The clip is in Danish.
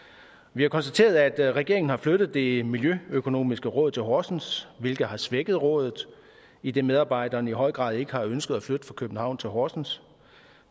vi har konstateret at regeringen har flyttet det miljøøkonomiske råd til horsens hvilket har svækket rådet idet medarbejderne i høj grad ikke har ønsket at flytte fra københavn til horsens